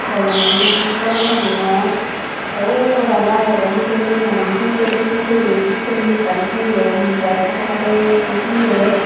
gomey naw hobor naw pangor tey ubot oley agedey gugol pay na phun pay dokken guriney sekken ye ekkan toyon mubayel padey padey toyon.